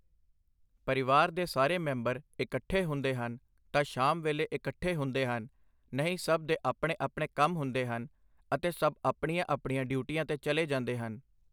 ਪਰਿਵਾਰ ਦੇ ਸਾਰੇ ਮੈਂਬਰ ਇਕੱਠੇ ਹੁੰਦੇ ਹਨ ਤਾਂ ਸ਼ਾਮ ਵੇਲ਼ੇ ਇਕੱਠੇ ਹੁੰਦੇ ਹਨ, ਨਹੀਂ ਸਭ ਦੇ ਆਪਣੇ-ਆਪਣੇ ਕੰਮ ਹੁੰਦੇ ਹਨ ਅਤੇ ਸਭ ਆਪਣੀਆਂ- ਆਪਣੀਆਂ ਡਿਊਟੀਆਂ 'ਤੇ ਚੱਲੇ ਜਾਂਦੇ ਹਨ।